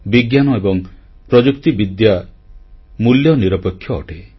ବିଜ୍ଞାନ ଏବଂ ପ୍ରଯୁକ୍ତିବିଦ୍ୟା ମୂଲ୍ୟ ନିରପେକ୍ଷ ଅଟେ